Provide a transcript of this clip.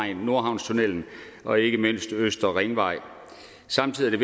i nordhavnstunnellen og ikke mindst på østre ringvej samtidig er